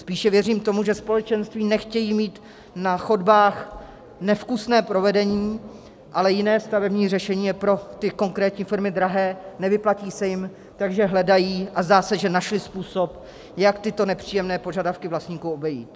Spíše věřím tomu, že společenství nechtějí mít na chodbách nevkusné provedení, ale jiné stavební řešení je pro ty konkrétní firmy drahé, nevyplatí se jim, takže hledají, a zdá se, že našly způsob, jak tyto nepříjemné požadavky vlastníků obejít.